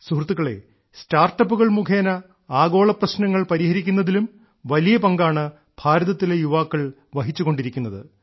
സുഹൃത്തുക്കളേ സ്റ്റാർട്ടപ്പുകൾ മുഖേന ആഗോളപ്രശ്നങ്ങൾ പരിഹരിക്കുന്നതിലും വലിയ പങ്കാണ് ഭാരതത്തിലെ യുവാക്കൾ വഹിച്ചുകൊണ്ടിരിക്കുന്നത്